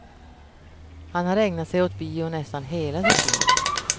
Han har ägnat sig åt bio nästan hela sitt liv.